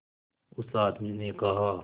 उस आदमी ने कहा